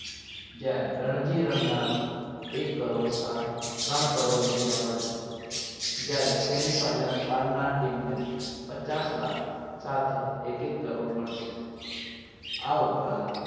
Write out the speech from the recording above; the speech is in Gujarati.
જ્યાં રણજી રમનાર એક કરોડ સ્થાન ત્રણ કરોડ રૂપિયા મળશે જ્યારે semi final હારનાર team ને પચાસ લાખ સાથે એક એક કરોડ મળશે. આ ઉપરાંત